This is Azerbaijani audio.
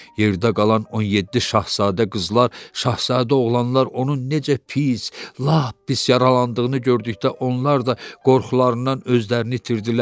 Yerdə qalan 17 şahzadə qızlar, şahzadə oğlanlar onun necə pis, lap pis yaralandığını gördükdə onlar da qorxularından özlərini itirdilər.